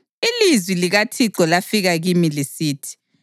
Ilizwi likaThixo lafika kimi lisithi: